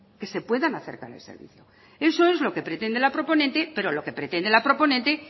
que se puedan acercar al servicio eso es lo que pretende la proponente pero lo que pretende la proponente